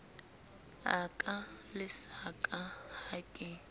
a ka lesaka ha ke